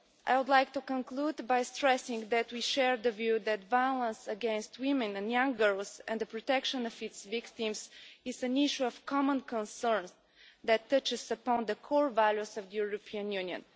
I would like to conclude by stressing that we share the view that violence against women and young girls and the protection of its victims is an issue of common concern that touches upon the core values of the European Union.